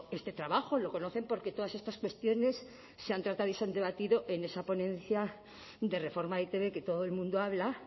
este trabajo lo conocen porque todas estas cuestiones se han tratado y se han debatido en esa ponencia de reforma de e i te be que todo el mundo habla